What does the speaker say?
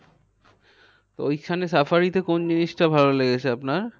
তো ওইখানে safari তে কোন জিনিসটা ভালো লেগেছে আপনার?